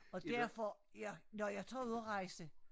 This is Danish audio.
Og derfor ja når jeg tager ud at rejse